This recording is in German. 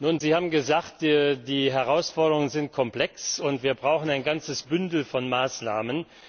Nun, Sie haben gesagt Die Herausforderungen sind komplex, und wir brauchen ein ganzes Bündel von Maßnahmen.